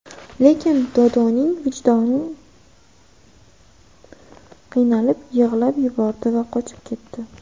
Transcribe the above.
Lekin Dodoning vijdoni qiynalib, yig‘lab yubordi va qochib ketdi.